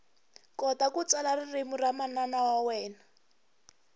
kota ku tsala ririmi ra manana wa wena